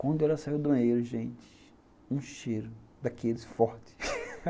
Quando ela saiu do banheiro, gente, um cheiro daqueles fortes.